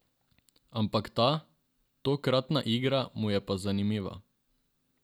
Ampak ta, tokratna igra, mu je pa zanimiva.